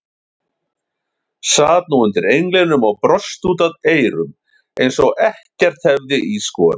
Sat nú undir englinum og brosti út að eyrum eins og ekkert hefði í skorist.